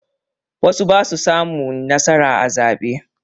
Wasu ba su samun nasara a zaɓe.